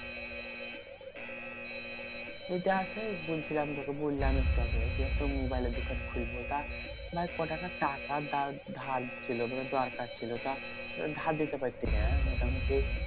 এটা সেই বলছিলাম তোকে বললাম একটু আগে যে, একটা মোবাইলের দোকান খুলবো। তা ভাই ক টাকা টাকা ধার ধার ছিল মানে দরকার ছিল। তা ধার দিতে মোটামুটি